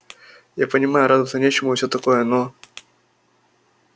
я понимаю радоваться нечему и все такое но